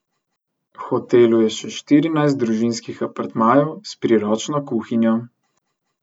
V hotelu je še štirinajst družinskih apartmajev s priročno kuhinjo.